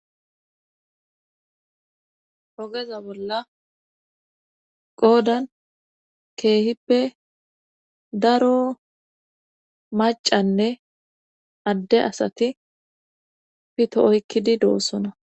hogeza bolla qoodan keehippe daro macanne adde asati pito oykkidi doossona